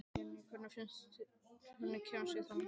Jenni, hvernig kemst ég þangað?